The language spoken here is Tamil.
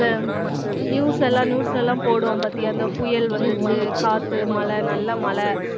news எல்லாம் news ல எல்லாம் போடுவோம் பாத்தியா அந்த புயல் வந்துச்சு காத்து மழை நல்ல மழை